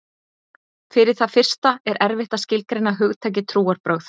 Fyrir það fyrsta er erfitt að skilgreina hugtakið trúarbrögð.